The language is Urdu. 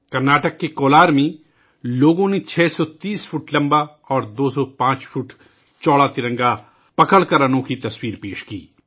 کرناٹک کے کولار میں لوگوں نے 630 فٹ لمبا اور 205 فٹ چوڑا ترنگا پکڑ کر ایک انوکھا نظارہ پیش کیا